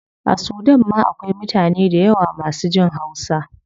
A sudan ma akwai mutane dayawa masu jin hausa